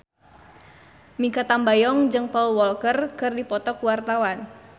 Mikha Tambayong jeung Paul Walker keur dipoto ku wartawan